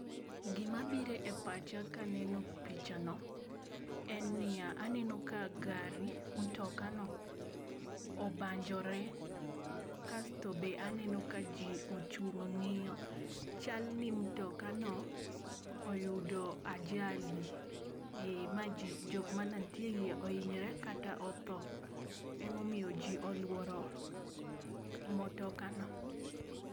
Gi ma birone pach ka aneno pichano en ni ya ,aneno ka gari motoka no obanjore kasto be aneno ka ji ochung' ng'iyo chal ni motoka no oyudo ajali ma ji jok ma ne nitie e iye oinyore kata otho ema omiyo ji oluoro motoka no.